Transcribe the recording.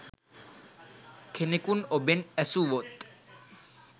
කෙනෙකුන් ඔබෙන් ඈසුවොත්